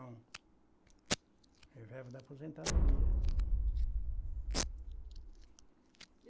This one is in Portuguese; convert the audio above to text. E vive da aposentadoria.